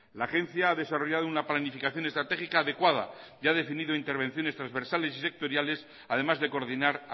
la agencia ha desarrollado una planificación estratégica adecuada y ha definido intervenciones transversales y sectoriales además de coordinar